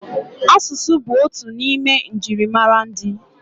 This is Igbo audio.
Asụsụ bụ otu n'ime njirimara ndị.